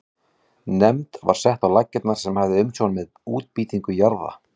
Nefnd var sett á laggirnar sem hafði umsjón með útbýtingu jarða.